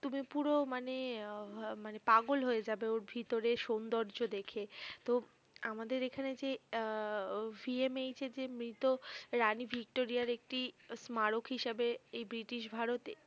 তুমি পুরো মানে মানে আহ পাগল হয়ে যাবে ওর ভিতরের সৌন্দর্য দেখে তো আমাদের এখানে যে আহ সিএমএইচ এ যে মৃত রানী ভিক্টোরিয়ার একটি স্মারক হিসেবে এই ব্রিটিশ ভারত